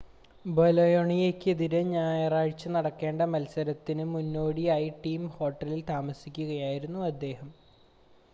ബൊലോണിയയ്‌ക്കെതിരെ ഞായറാഴ്ച നടക്കേണ്ട മത്സരത്തിന് മുന്നോടിയായി ടീം ഹോട്ടലിൽ താമസിക്കുകയായിരുന്നു അദ്ദേഹം